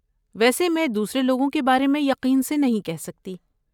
ویسے میں دوسرے لوگوں کے بارے میں یقین سے نہیں کہہ سکتی۔